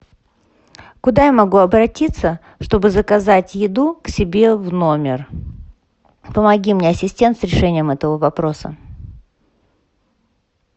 куда я могу обратиться чтобы заказать еду к себе в номер помоги мне ассистент с решением этого вопроса